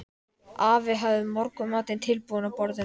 Afi hafði morgunmatinn tilbúinn á borðinu.